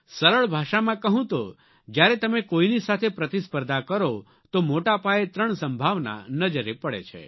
સરળ ભાષામાં કહું તો જ્યારે તમે કોઇની સાથે પ્રતિસ્પર્ધા કરો તો મોટા પાયે ત્રણ સંભાવના નજરે પડે છે